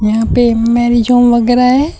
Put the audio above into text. यहां पे marriage home वगैरा है।